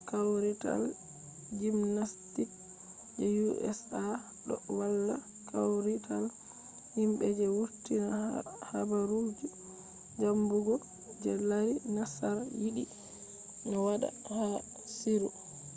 kawrital jimnastiks je usa ɗo walla kawrital himɓe je wurtinta habaru zambugo je lari nassar yiɗi no waɗa ha sirru